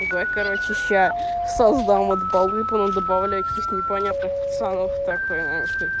другой короче щас создам от балкона добавлять их непонятно специальных спокойной